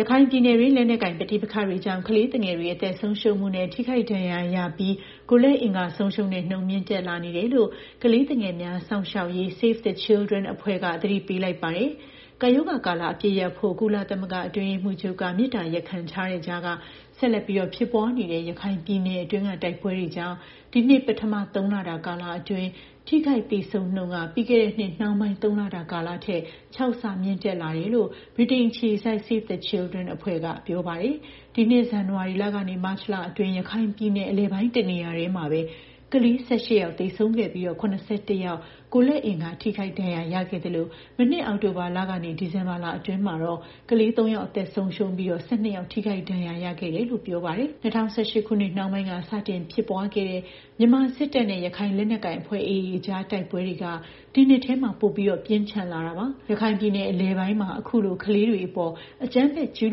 ရခိုင်ပြည်နယ်တွင်း လက်နက်ကိုင် ပဋိပက္ခတွေကြောင့် ကလေးသူငယ်တွေ အသက် ဆုံးရှုံးမှုနဲ့ ထိခိုက် ဒဏ်ရာရပြီး ကိုယ်လက်အင်္ဂါ ဆုံးရှုံးတဲ့နှုန်းက မြင့်တက်လာနေတယ်လို့ ကလေးသူငယ်များ စောင့်ရှောက်ရေးအဖွဲ့ Save the Children အဖွဲ့က သတိပေးလိုက်ပါတယ်။ ကပ်ရောဂါကာလ အပစ်ရပ်ဖို့ ကုလသမဂ္ဂ အတွင်းရေးမှူးချုပ်က မေတ္တာရပ်ခံထားတဲ့ ကြားက ဆက်လက်ဖြစ်ပွားနေတဲ့ ရခိုင်ပြည်နယ်တွင်းက တိုက်ပွဲတွေကြောင့် ဒီနှစ် ပထမသုံးလကာလ ကလေးတွေ ထိခိုက်သေဆုံးနှုန်းက ပြီးခဲ့တဲ့နှစ် နှောင်းပိုင်း သုံးလတာကာလထက် ၆ ဆ မြင့်တက်လာ ခဲ့တယ်လို့ ဗြိတိန်အခြေစိုက် Save the Children အဖွဲ့က ပြောပါတယ်။ ဒီနှစ် ဇန်နဝါရီလက မတ်လအတွင်း ရခိုင်ပြည်နယ် အလယ်ပိုင်း တနေရာတည်းမှာပဲ ကလေး ၁၈ ယောက် သေဆုံးခဲ့ပြီး ၇၁ ယောက် ကိုယ်လက်အင်္ဂါ ထိခိုက်ဒဏ်ရာရခဲ့သလို၊ မနှစ် အောက်တိုဘာလက ဒီဇင်ဘာလအတွင်းမှာတော့ ကလေး ၃ ယောက် အသက်ဆုံးရှုံးပြီး ၁၂ ယောက် ထိခိုက် ဒဏ်ရာရရှိခဲ့တယ်လို့လည်း ပြောပါတယ်။ ၂၀၁၈ ခုနှစ် နှောင်းပိုင်းက စတင်ဖြစ်ပွားခဲတဲ့ မြန်မာစစ်တပ်နဲ့ ရခိုင်လက်နက်ကိုင်အဖွဲ့ AA အကြား တိုက်ပွဲတွေက ဒီနှစ်ထဲ ပိုပြီး ပြင်းထန်လာခဲ့တာပါ။ ရခိုင်ပြည်နယ် အလယ်ပိုင်းမှာ အခုလို ကလေးတွေအပေါ် အကြမ်းဖက်ကျူး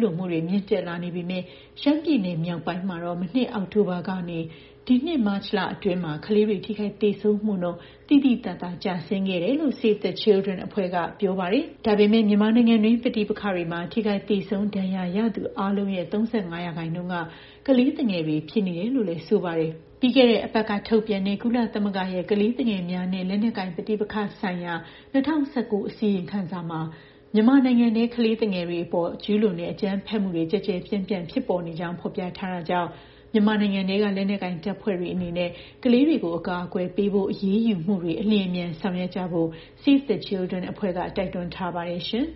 လွန်မှုတွေ မြင့်တက်လာနေပေမဲ့ ရှမ်းပြည်နယ် မြောက်ပိုင်းမှာတော့ မနှစ်အောက်တိုဘာက ဒီနှစ် မတ်လအတွင်း ကလေးတွေ ထိခိုက် သေဆုံးမှုနှုန်း သိသိသာသာ ကျဆင်းခဲ့တယ်လို့ Save the Children အဖွဲ့က ပြောပါတယ်။ ဒါပေမဲ့ မြန်မာနိုင်ငံအတွင်း ပဋိပက္ခတွေမှာ ထိခိုက် သေဆုံး ဒဏ်ရာရသူအားလုံးရဲ့ ၃၅ ရာခိုင်နှုန်းက ကလေးသူငယ်တွေ ဖြစ်နေတယ်လို့လည်း ဆိုပါတယ်။ ပြီးခဲ့တဲ့ အပတ်က ထုတ်ပြန်တဲ့ ကုလသမဂ္ဂရဲ့ ကလေးသူငယ်များနဲ့ လက်နက်ကိုင် ပဋိပက္ခဆိုင်ရာ ၂၀၁၉ အစီရင်ခံစာမှာ မြန်မာနိုင်ငံထဲ ကလေးသူငယ်တွေအပေါ် ကျူးလွန်တဲ့ အကြမ်းဖက်မှုတွေ ကျယ်ကျယ်ပြန့်ပြန့် ဖြစ်ပေါ်နေကြောင်း ဖော်ပြထားတာကြောင့် မြန်မာနိုင်ငံထဲက လက်နက်ကိုင်တပ်ဖွဲ့တွေအနေနဲ့ ကလေးတွေကို အကာအကွယ်ပေးဖို့ အရေးယူမှုတွေ အလျင်အမြန် ဆောင်ရွက်ကြဖို့ Save the Children အဖွဲ့က တိုက်တွန်း ထားပါတယ် ရှင်။